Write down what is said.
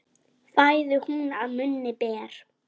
Fæðu hún að munni ber.